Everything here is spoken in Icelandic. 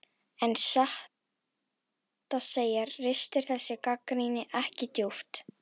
En satt að segja ristir þessi gagnrýni ekki djúpt.